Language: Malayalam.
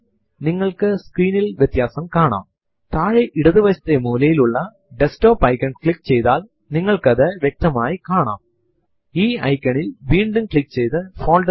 നിലവിലുള്ള ഫൈൽ1 എന്ന ഒരു file ന്റെ അടിയിൽ കൂട്ടിച്ചേർക്കുവാനാണ് നിങ്ങൾ ആഗ്രഹിക്കുന്നു എങ്കിൽ പ്രോംപ്റ്റ് ൽ cat space double right angle bracket space file one എന്ന് ടൈപ്പ് ചെയ്തു എന്റർ അമർത്തുക